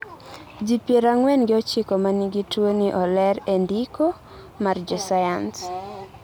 ji pier ang'wen gi ochiko manigi tuwoni oler e ndiko mar jo sayans